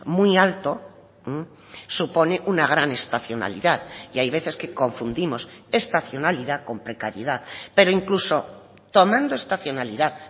muy alto supone una gran estacionalidad y hay veces que confundimos estacionalidad con precariedad pero incluso tomando estacionalidad